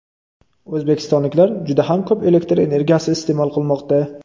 O‘zbekistonliklar juda ham ko‘p elektr energiyasi iste’mol qilmoqda.